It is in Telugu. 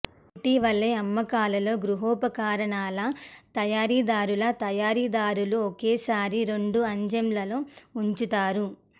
ఇటీవలే అమ్మకాలలో గృహోపకరణాల తయారీదారుల తయారీదారులు ఒకేసారి రెండు అజెంళ్ళలో ఉంచుతారు